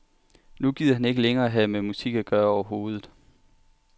Nu gider han ikke længere have med musik at gøre overhovedet.